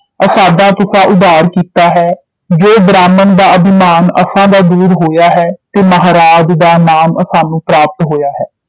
ਅਸਾਡਾ ਤੁਸਾਂ ਉਧਾਰ ਕੀਤਾ ਹੈ ਜੋ ਬ੍ਰਾਹਮਣ ਦਾ ਅਭਿਮਾਨ ਅਸਾਂ ਦਾ ਦੂਰ ਹੋਇਆ ਹੈ ਤੇ ਮਹਾਰਾਜ ਦਾ ਨਾਮ ਅਸਾਨੂੰ ਪ੍ਰਾਪਤ ਹੋਇਆ ਹੈ